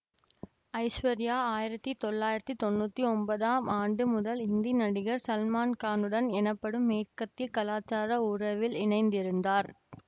ஐஸ்வர்யா ஆயிரத்தி தொள்ளயிறத்தி தொனுத்தி ஒன்பதாம் ஆண்டு முதல் இந்தி நடிகர் சல்மான்கானுடன் எனப்படும் மேற்கத்திய கலாசார உறவில் இணைந்திருந்தார்